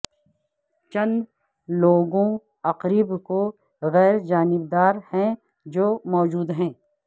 چند لوگوں عقرب کو غیر جانبدار ہیں جو موجود ہیں